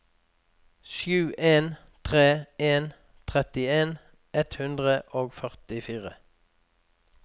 sju en tre en trettien ett hundre og førtifire